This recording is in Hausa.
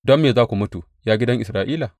Don me za ku mutu, ya gidan Isra’ila?